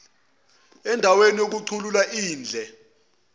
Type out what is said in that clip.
andaweni yokukhuculula indle